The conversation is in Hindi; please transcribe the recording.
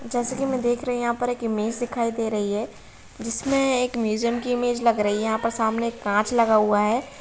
जैसे की मै देख रही हूँ। यहाँ पे एक इमेज दिखाई दे रही है। जिसमे एक म्यूजियम की इमेज लग रही है। यहाँ पे सामने कांच लगा हुआ है।